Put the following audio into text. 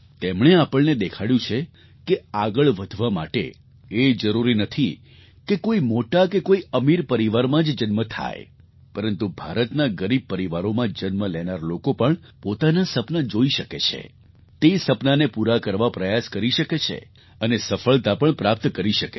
તેમણે આપણને દેખાડ્યું છે કે આગળ વધવા માટે એ જરૂરી નથી કે કોઈ મોટા કે કોઈ અમીર પરિવારમાં જ જન્મ થાય પરંતુ ભારતના ગરીબ પરિવારોમાં જન્મ લેનારા લોકો પણ પોતાનાં સપનાં જોઈ શકે છે તે સપનાંને પૂરાં કરવા પ્રયાસ કરી શકે છે અને સફળતા પણ પ્રાપ્ત કરી શકે છે